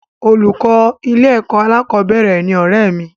Olùkọ́ ilé-ẹ̀kọ́ alákọ̀ọ́bẹ̀rẹ̀ ni ọ̀rẹ́ẹ̀ mi